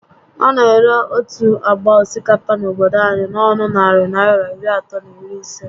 A na ere otu ágbá osikapa n'obodo anyị n'ọnụ narị Naịra iri atọ na iri isé